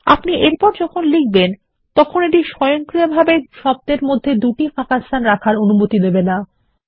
আপনি এরপর যখন লিখবেন তখন এটি স্বয়ংক্রিয়ভাবে দুটি শব্দের মধ্যে জোড়া ফাঁকাস্থান রাখার অনুমতি দেবে না